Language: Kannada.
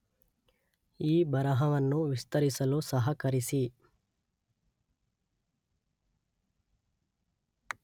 ಈ ಬರಹವನ್ನು ವಿಸ್ತರಿಸಲು ಸಹಕರಿಸಿ.